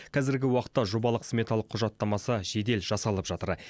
қазіргі уақытта жобалық сметалық құжаттамасы жедел жасалып жатыр